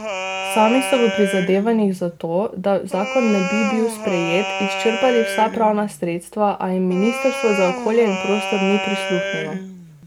Sami so v prizadevanjih za to, da zakon ne bi bil sprejet, izčrpali vsa pravna sredstva, a jim ministrstvo za okolje in prostor ni prisluhnilo.